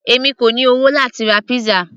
èmi kò ní owó láti ra pizza